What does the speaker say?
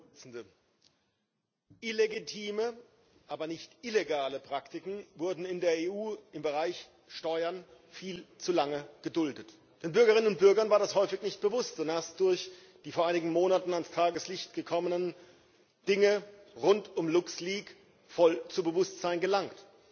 Frau Präsidentin! Illegitime, aber nicht illegale Praktiken wurden in der EU im Bereich Steuern viel zu lange geduldet. Den Bürgerinnen und Bürgern war das häufig nicht bewusst¸ es ist ihnen erst durch die vor einigen Monaten ans Tageslicht gekommenen Dinge rund um Luxleaks voll ins Bewusstsein gelangt.